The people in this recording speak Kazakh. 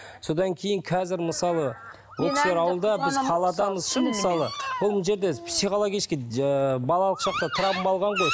содан кейін қазір мысалы ол кісілер ауылда біз қаладамыз мысалы ол мына жерде психологический ыыы балалық шақта травма алған ғой